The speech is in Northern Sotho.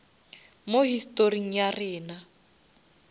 mo historing ya rena